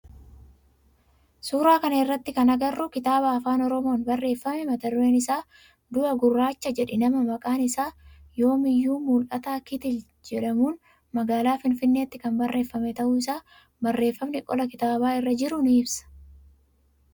Suuraa kana irratti kan agarru kitaaba afaan oromoon barreeffame mata dureen isaa du'a gurraacha jedhi nama maqaan isaa Yoomiyyuu Mul'ataa Kitil jedhamun magaalaa finfinneetti kan barreeffamee ta'uu isaa barreefamni qolaa kitaaba irra jiru ni ibsa.